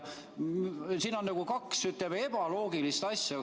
Siin on kaks ebaloogilist asja.